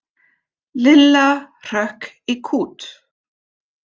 Lilla hrökk í kút.